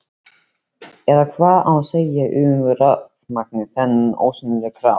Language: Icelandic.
Eða hvað á að segja um rafurmagnið, þennan ósýnilega kraft?